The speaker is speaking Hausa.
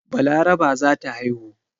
Balaraba za ta haihu.